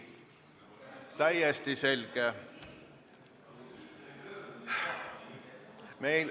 Täiesti selge!